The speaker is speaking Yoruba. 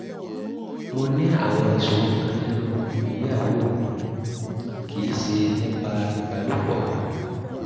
mo ní àwọn ìṣòro kan nínú ìgbéyàwó mi (kì í ṣe nípa ìbálòpọ̀)